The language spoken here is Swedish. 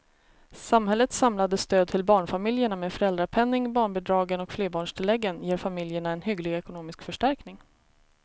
Samhällets samlade stöd till barnfamiljerna med föräldrapenningen, barnbidragen och flerbarnstilläggen ger familjerna en hygglig ekonomisk förstärkning.